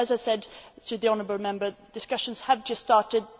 But, as I said to the honourable Member, discussions have just started